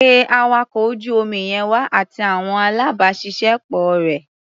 Pé awakọ̀ ojú omi yẹn wá, àti àwọn alábàáṣiṣẹ́ pọ̀ rẹ̀.